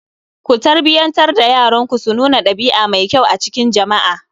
Ku tarbiyyantar da yaranku su nuna ɗabia mai kyau a cikin jama'a